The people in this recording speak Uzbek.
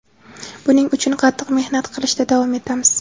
Buning uchun qattiq mehnat qilishda davom etamiz.